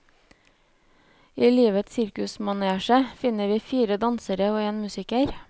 I livets sirkusmanesje møter vi fire dansere og en musiker.